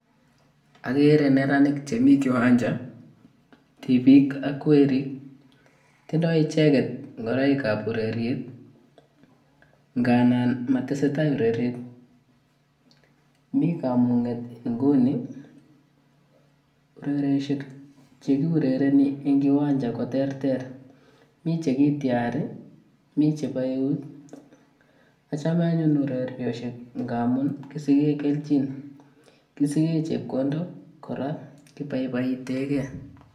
Akere neranik chemi kiwanja, tipik ak werik. Tindoi icheget ngoroik ap ureriet nganan motesetai ureriet. Mi kamung'et nguni. Urerieshek che kiurereni eng kiwanja koterter. Mi che kityari, mi chebo eut. Achome anyun urerioshek nga amun kisige kelchin, kisige chepkondok kora kiboiboitegei.